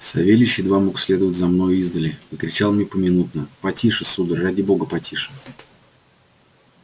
савельич едва мог следовать за мною издали и кричал мне поминутно потише сударь ради бога потише